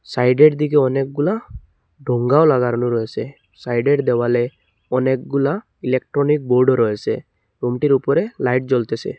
সাইডের দিকে অনেকগুলা ডোঙ্গাও লাগানো রয়েসে সাইডের দেওয়ালে অনেকগুলা ইলেকট্রনিক বোর্ডও রয়েসে রুমটির উপরে লাইট জ্বলতেসে।